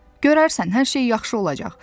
Görərsən, hər şey yaxşı olacaq.